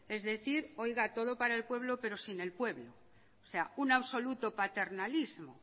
es decir todo para el pueblo pero sin el pueblo o sea un absoluto paternalismo